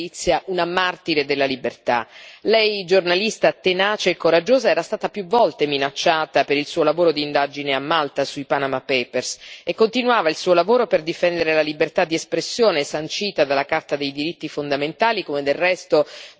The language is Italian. Lei, giornalista tenace e coraggiosa, era stata più volte minacciata per il suo lavoro di indagine a Malta sui Panama Papers e continuava il suo lavoro per difendere la libertà di espressione sancita dalla Carta dei diritti fondamentali, come del resto la stessa indipendenza della magistratura.